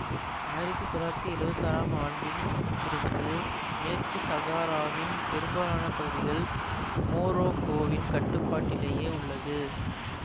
ஆயிரத்தி தொள்ளாயிரத்தி எழுவத்தி ஆறாம் ஆண்டில் இருந்து மேற்கு சகாராவின் பெரும்பாலான பகுதிகள் மோரோக்கோவின் கட்டுப்பாட்டிலேயே உள்ளது